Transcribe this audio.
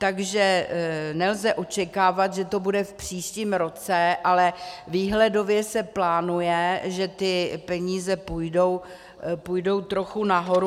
Takže nelze očekávat, že to bude v příštím roce, ale výhledově se plánuje, že ty peníze půjdou trochu nahoru.